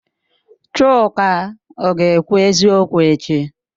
Chuka ọ ga-ekwu eziokwu echi?